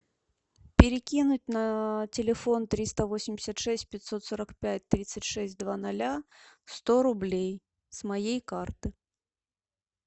перекинуть на телефон триста восемьдесят шесть пятьсот сорок пять тридцать шесть два ноля сто рублей с моей карты